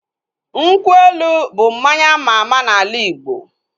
Nkwụ elu bụ mmanya ama ama n'ala Igbo